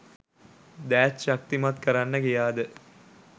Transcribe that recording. දෑත් ශක්තිමත් කරන්න ගියාද?